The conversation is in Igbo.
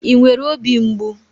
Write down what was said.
I nwere óbì mgbu?